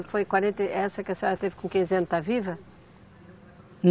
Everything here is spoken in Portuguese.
Foi quarenta e, essa que a senhora teve com quinze anos, está viva?